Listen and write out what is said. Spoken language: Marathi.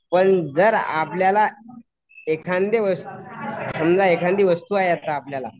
पण जर आपल्याला एखादया समजा एखांदी वस्तू आहे आपल्याला